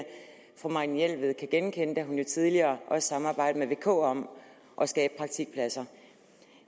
fru marianne jelved kan genkende da hun jo tidligere også samarbejdede og k om at skabe praktikpladser